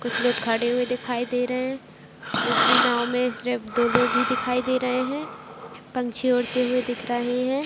कुछ लोग खड़े हुए दिखाई दे रहे है दूसरी नांव में सिर्फ दो लोग ही दिखाई दे रहे है पंछी उड़ते हुए दिख रहे है।